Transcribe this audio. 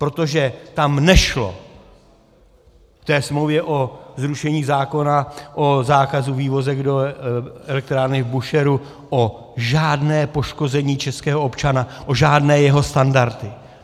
Protože tam nešlo v té smlouvě o zrušení zákona o zákazu vývozu do elektrárny v Búšehru o žádné poškození českého občana, o žádné jeho standardy.